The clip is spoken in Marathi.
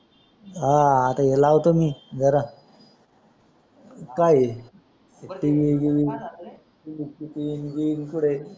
हा आता लावतो मी बर काय TV गीवी किती तिकड